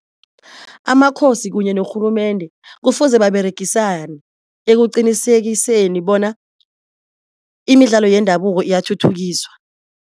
Amakhosi kunye norhulumende kufuze baberegisane ekuqinisekiseni bona imidlalo yendabuko iyathuthukiswa.